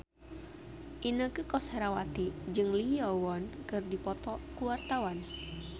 Inneke Koesherawati jeung Lee Yo Won keur dipoto ku wartawan